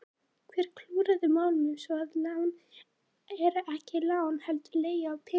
Hver klúðraði málum svo að lán eru ekki lán heldur leiga á peningum?